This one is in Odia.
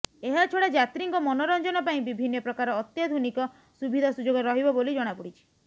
ଏହାଛଡା ଯାତ୍ରୀଙ୍କ ମନୋରଞ୍ଜନ ପାଇଁ ବିଭିନ୍ନ ପ୍ରକାର ଅତ୍ୟାଧୁନିକ ସୁବିଧା ସୁଯୋଗ ରହିବ ବୋଲି ଜଣାପଡିଛି